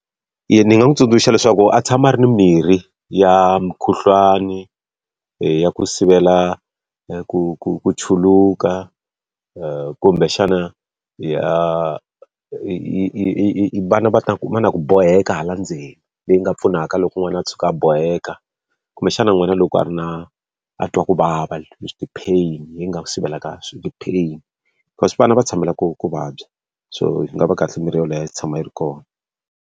Eya, ni nga n'wi tsundzuxa leswaku a tshama a ri ni mirhi ya mukhuhlwani, ya ku sivela ku ku ku chuluka kumbexana ya vana va ta va na ku boheka hala ndzeni leyi nga pfunaka loko n'wana a tshuka a boheka. Kumbexana n'wina loko a ri na a twa ku vava ti-pain yi nga sivela ka ti-pain. Because vana va tshamela ku ku vabya, so yi nga va kahle mirhi yoleyo yi tshama yi ri kona.